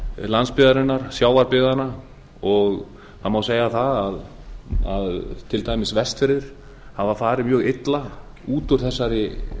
landsbyggðarinnar sjávarbyggðanna og það má segja að til dæmis vestfirðir hafa farið mjög illa út